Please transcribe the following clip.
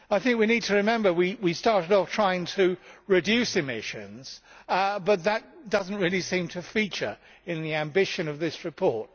We need to remember that we started off by trying to reduce emissions, but that does not really seem to feature in the ambition of this report.